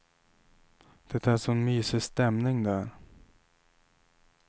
Det är sån mysig stämning där.